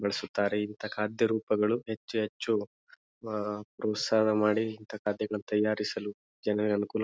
ನಡೆಸುತ್ತಾರೆ ಇಂತಹ ಖಾದ್ಯ ರೂಪಗಳು ಹೆಚ್ಚು ಹೆಚ್ಚು ಅಹ್ ಪ್ರೋತ್ಸಹ ಮಾಡಿ ಇಂತಹ ಖಾದ್ಯಗಳನ್ನು ತಯಾರಿಸಲು ಜನರಿಗೆ ಅನುಕೂಲ --